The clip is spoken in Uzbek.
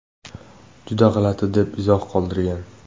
Juda g‘alati”, deb izoh qoldirgan.